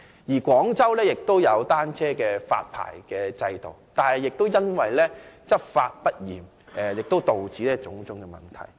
此外，廣州亦設有單車發牌制度，但因執法不嚴而導致種種問題。